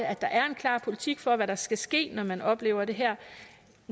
at der er en klar politik for hvad der skal ske når man oplever det her